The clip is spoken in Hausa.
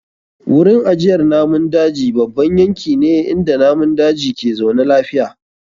Wurin ajiyar namun daji babban yanki ne inda namun daji ke zaune lafiya.